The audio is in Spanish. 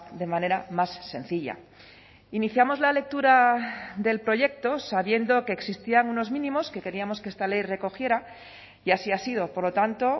de manera más sencilla iniciamos la lectura del proyecto sabiendo que existían unos mínimos que queríamos que esta ley recogiera y así ha sido por lo tanto